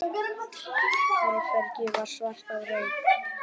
Herbergið var svart af reyk.